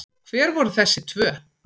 Hver voru þessi tvö?